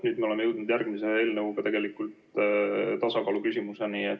Nüüd me oleme jõudnud järgmise eelnõuga tegelikult tasakaaluküsimuseni.